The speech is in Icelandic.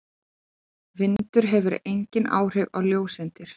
Vindur hefur engin áhrif á ljóseindir.